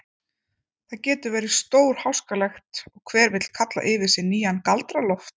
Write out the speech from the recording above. Það getur verið stórháskalegt og hver vill kalla yfir sig nýjan Galdra-Loft.